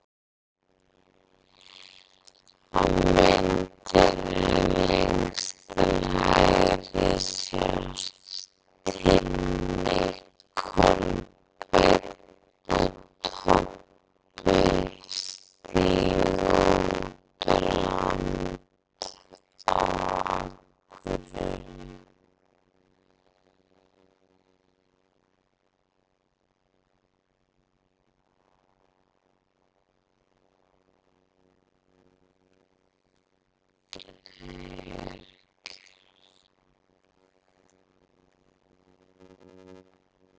Á myndinni lengst til hægri sjást Tinni, Kolbeinn og Tobbi stíga á land á Akureyri.